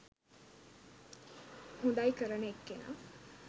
හොඳයි කරන එක්කෙනා.